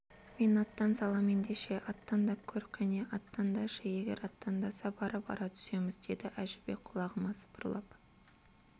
мен аттан салам ендеше аттандап көр кәне аттандашы егер аттандаса барып ара түсеміз деді әжібек құлағыма сыбырлап